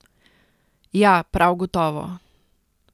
Ja, prav gotovo.